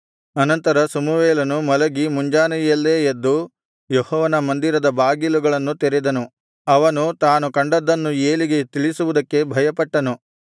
ಅನಂತರ ಸಮುವೇಲನು ಮಲಗಿ ಮುಂಜಾನೆಯಲ್ಲೇ ಎದ್ದು ಯೆಹೋವನ ಮಂದಿರದ ಬಾಗಿಲುಗಳನ್ನು ತೆರೆದನು ಅವನು ತಾನು ಕಂಡದ್ದನ್ನು ಏಲಿಗೆ ತಿಳಿಸುವುದಕ್ಕೆ ಭಯಪಟ್ಟನು